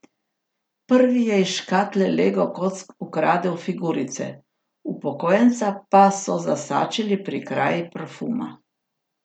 Prvi je iz škatle lego kock ukradel figurice, upokojenca pa so zasačili pri kraji parfuma.